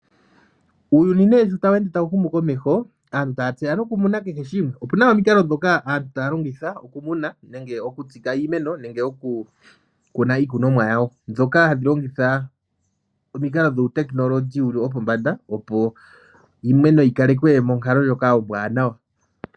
Uuyuni sho tawu ende tawu humu komeho, aantu taya tseya nokumuna kehe shimwe. Opu na omikalo ndhoka aantu taya longitha okumuna nenge okutsika iimeno nenge okukuna iikunomwa yawo. Ndhoka hadhi longitha omikalo ndhoka dhuutekinolohi dhopombanda, opo iimeno yi kalekwe monkalo ndjoka ombwaanawa.